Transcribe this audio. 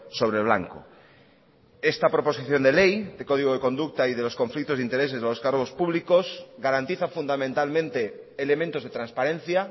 sobre blanco esta proposición de ley de código de conducta y de los conflictos de intereses a los cargos públicos garantiza fundamentalmente elementos de transparencia